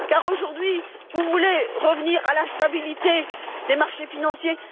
Aujourd'hui, vous voulez revenir à la stabilité des marchés financiers.